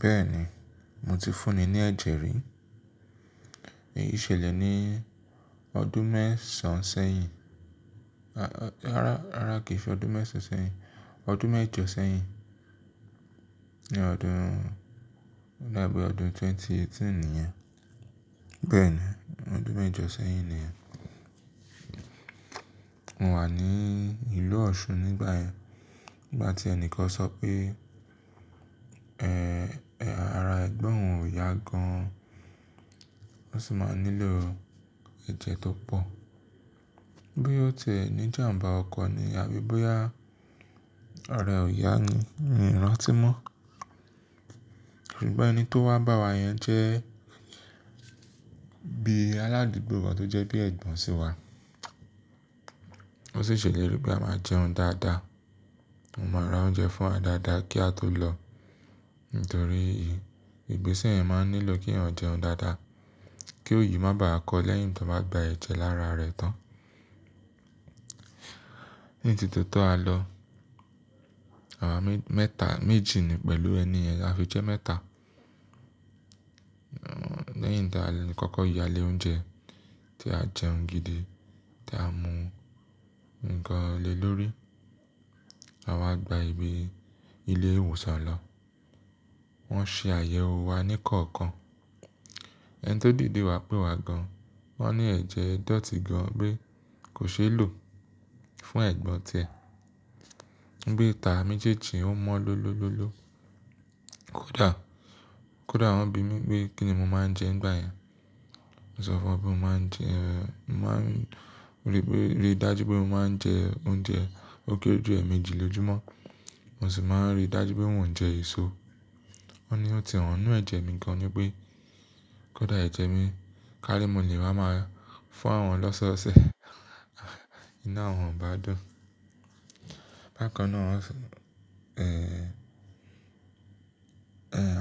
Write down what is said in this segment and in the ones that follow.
Bẹ́ẹ̀ni, mo ti fúnni ní ẹ̀jẹ̀ rí. Èyí ṣẹlẹ̀ ní ọdún mẹ́sàn sẹ́yìn, rara kìí ṣe ọdún mẹ́sàn sẹ́yìn, ọdún mẹ́jọ sẹ́yìn. Ni ọdún, lábẹ́ ọdún ẹgbẹ̀rún méjì ó lé méjìdínlógún nìyẹn. Bẹ́ẹ̀ni, ọdún mẹ́jọ sẹ́yìn nìyẹn. Mo wà ní ìlú Ọ̀ṣun nígbà yẹn. Nígbà tí ẹnìkan sọ pé, "Ẹ́, ara ẹ̀gbọ́n òun ò yá gan an, ó sì máa nílò ẹ̀jẹ̀ tó pọ̀." Bóya otiẹ̀ ní jàmbá ọkọ̀ ni ábi bóyá araẹ́ ọ̀yà ni, mi ò rántí mọ́. Ṣùgbọ́n ẹni tó wá bá wa yẹn jẹ́ bí aládùúgbò wa tó jẹ́ bí Ẹ̀gbọ́n sí wa. Ó sì ṣèlérí pé a máa jẹun dáadáa, ó máa ra oúnjẹ fún wa dáadáa kí a tó lọ. Nítorí ìgbésẹ̀ yẹn máa ń nílò kí ọ̀yà jẹun dáadáa, kí òyì má bàá kọ lẹ́yìn tó bá gba ẹ̀jẹ̀ lára rẹ̀ tán. Ní tí tó tó a lọ, àwa mẹ́ta, méjì ni pẹ̀lú ẹni ẹ̀, a fi jẹ́ mẹ́ta. Lẹ́yìn tá a kọ́kọ́ yale oúnjẹ tí a jẹun gidi, tí a mu nǹkan le lórí, àwa gba ìgbé ilé ìwòsàn lọ. Wọ́n ṣe àyẹ̀wò wa ní kọ̀ọ̀kan. Ẹni tó dìde wá pé wa gan an, wọ́n ní ẹ̀jẹ̀ e dọ̀tí gan an pe kò ṣeé lò fún ẹ̀gbọ́n tiẹ. Pe tà méjèèjì ó mọ́ lọ́lọ́lọ́lọ́. Kódà, kódà wọ́n bi mí pé kí ni mo máa ń jẹ nígbà yẹn. Mo sọ fún won pe mo máa ń jẹ. Mo máa ń ríi dájú pé mo máa ń jẹ oúnjẹ ó kéré jù ẹ̀ẹ̀mejì lójo mọ́. Mo sì máa ń ríi dájú pé n òún jẹ èso. Wọ́n ni ó ti hàn ní ẹ̀jẹ̀ mi gan an ni pé kódà ẹ̀jẹ̀ mi kání mo lè máa máa fún àwọn lọ́sọ̀ọ̀sẹ̀ inu àwọn o bá dùn. Bákan náà wọ́n s- ẹ̀,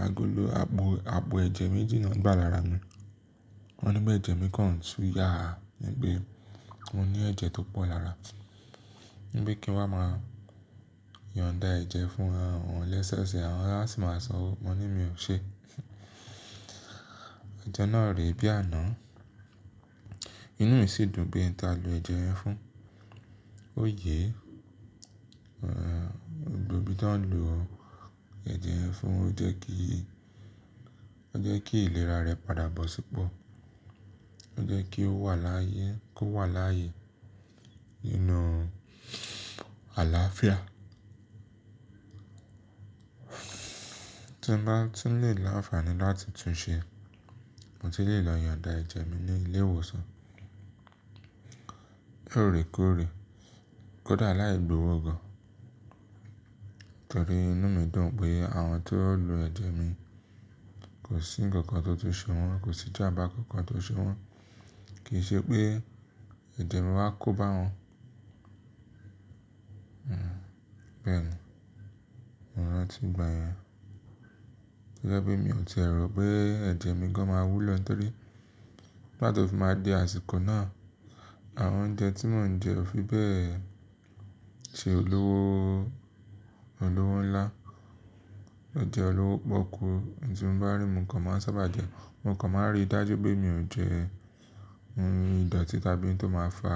àgòló, ààbò ẹ̀jẹ̀ méjì ni wọ́n gbà lára mi. Wọ́n ní pé ẹ̀jẹ̀ mi kan ń tu yà á, ní pe mo ní ẹ̀jẹ̀ tó pọ̀ lára. Ní pe kí n wá máa yon dá ẹ̀jẹ̀ fún àwọn lọ́sọọ̀sẹ̀ àwọn, awọ́n á sì máa sanwó. Mo ní mi ò ṣe. Ojọ́ náà rè bí àná. Inú mi sì dùn pé n ta lọ ẹ̀jẹ̀ yẹn fún. Ó yé, ẹ̀, gbogbo bí n ta lò ó ẹ̀jẹ̀ yẹn fún ó jẹ́ kí, ó jẹ́ kí ìlera rẹ padà bọ̀ sípọ̀. Ó jẹ́ kí ó wà láàyè, kó wà láàyè ninú àlàáfíà. Tí mo bá tun le lànfààní láti tún ṣe, mo tun lè lọ yon dá ẹ̀jẹ̀ mi ní ilé ìwòsàn. Lorèkóòrè, kódà láì gbówó gan an. Nítorí inú mi dùn pé àwọn tó lo ẹ̀jẹ̀ mi kò sí nǹkan kan tó ti ṣe wọ́n, kò sí jàmbá kan kan tó ṣe wọ́n. Kì í ṣe pé ẹ̀jẹ̀ mi wá kó bá wọn. Hmm, bẹ́ẹ̀ni, mo rántí ìgbà yẹn. To jẹ́pe mi ò ti è rọ̀ pé ẹ̀jẹ̀ mi gan an máa wú lọ, nítorí nigbáti òfi máa dé àsìkò náà, àwọn oúnjẹ tí mò ń jẹ ò fi bẹ́ẹ̀ ṣe olówó, olówó ńlá. Jẹ̀ olówó pọ́kú. In tí mò bá rí, mò kan máa ń sáábà jẹ. Mo kàn máa ń ríi dájú pé mi ò jẹ ohun ìdọ̀tí tàbí ohun tó máa fà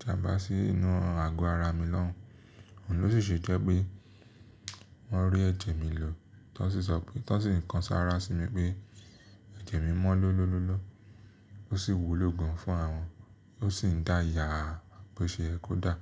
jàmbá sí inú àgọ́ ara mi náà. Òun ló sì ṣe jẹ́ pé wọ́n rí ẹ̀jẹ̀ mi lò, tọ́n sì sọ pé, tọ́n sì ńkan sára sí mi pé ẹ̀jẹ̀ mi mọ́ lọ́lọ́lọ́lọ́. Ó sì wú ló gan fún àwọn, ó sì ń dáa yà á bó ṣe yẹ́ kódà.